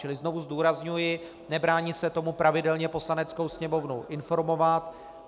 Čili znovu zdůrazňuji, nebráním se tomu pravidelně Poslaneckou sněmovnu informovat.